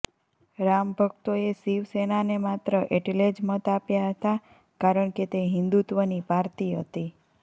રામભક્તોએ શિવસેનાને માત્ર એટલે જ મત આપ્યા હતાં કારણ કે તે હિંદુત્વની પાર્તી હતી